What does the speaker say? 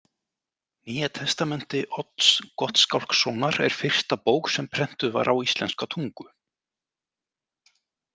Nýja testamenti Odds Gottskálkssonar er fyrsta bók sem prentuð var á íslenska tungu.